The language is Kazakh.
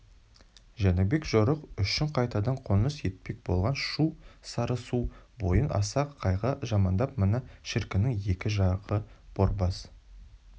жәнібек жорық үшін қайтадан қоныс етпек болған шу сарысу бойын асан қайғы жамандап мына шіркіннің екі жағы борбас